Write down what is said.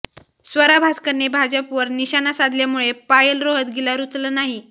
स्वरा भास्करने भाजपवर निशाणा साधल्यामुळे पायल रोहतगीला रुचलं नाही